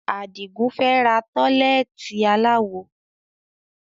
Adigun fẹ́ ra tọ́lẹ́ẹ́tì aláwo